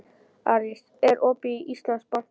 Aris, er opið í Íslandsbanka?